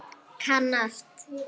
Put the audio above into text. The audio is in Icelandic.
Kann allt.